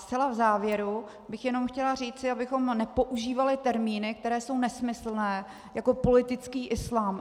Zcela v závěru bych jenom chtěla říct, abychom nepoužívali termíny, které jsou nesmyslné, jako politický islám.